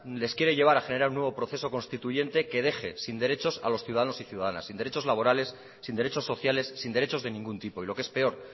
les quiere llevar a generar un nuevo proceso constituyente que deje sin derechos a los ciudadanos y ciudadanas sin derechos laborales sin derechos sociales sin derechos de ningún tipo y lo que es peor